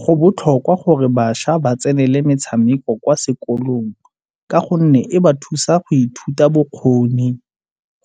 Go botlhokwa gore bašwa ba tsenele metshameko kwa sekolong ka gonne e ba thusa go ithuta bokgoni,